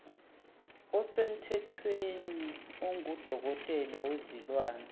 osemthethweni ongudokotela wezilwane